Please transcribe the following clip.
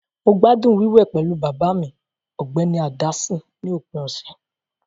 Mo gbádùn wíwẹ̀ pẹ̀lú bàbá mi, Ọ̀gbẹ́ni Anderson, ní òpin ọ̀sẹ̀.